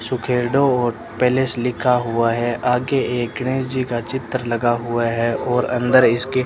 और पैलेस लिखा हुआ है आगे एक गणेश जी का चित्र लगा हुआ है और अंदर इसके --